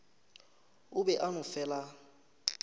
o be a no fela